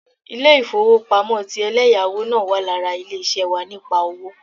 Ilé-ìfowópamọ́ ti eléyáwó náà wà lára ilé ṣé wà nípa owó